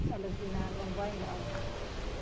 Ela dizia, não vai não.